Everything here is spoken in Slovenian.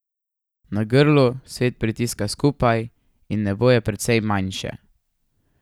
Na Grlu svet pritiska skupaj in nebo je precej manjše.